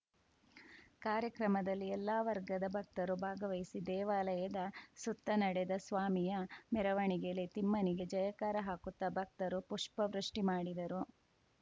ಕಾರ್ಯಕ್ರಮದಲ್ಲಿ ಎಲ್ಲ ವರ್ಗದ ಭಕ್ತರು ಭಾಗವಹಿಸಿ ದೇವಾಲಯದ ಸುತ್ತ ನಡೆದ ಸ್ವಾಮಿಯ ಮೆರವಣಿಗೆಯಲ್ಲಿ ತಿಮ್ಮನಿಗೆ ಜಯಕಾರ ಹಾಕುತ್ತಾ ಭಕ್ತರು ಪುಷ್ಪವೃಷ್ಟಿಮಾಡಿದರು